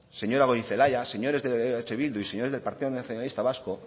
señora gorizelaia señores de eh bildu y señores del partido nacionalista vasco